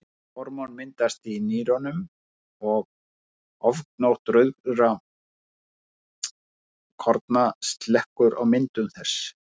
Þetta hormón myndast í nýrunum og ofgnótt rauðkorna slekkur á myndun þess.